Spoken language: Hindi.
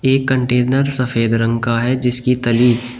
एक कंटेनर सफेद रंग का है जिसकी तली--